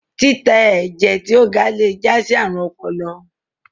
titẹ ẹjẹ ti o ga le já sí àrùn ọpọlọ